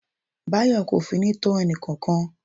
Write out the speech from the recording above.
Bayo kò finú tán ẹnìkankan.